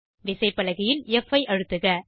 விசைப்பலகையில் ப் ஐ அழுத்துக